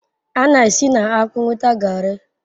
A na-esi na akpu nweta Garri